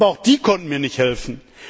Aber auch die konnten mir nicht helfen.